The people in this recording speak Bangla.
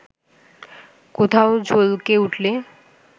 কোথাও ঝলকে উঠলে